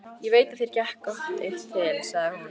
Ég veit að þér gekk gott eitt til, sagði hún.